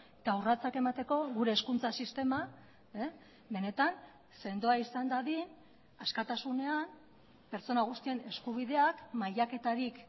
eta urratsak emateko gure hezkuntza sistema benetan sendoa izan dadin askatasunean pertsona guztien eskubideak mailaketarik